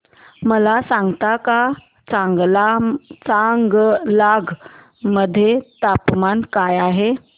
मला सांगता का चांगलांग मध्ये तापमान काय आहे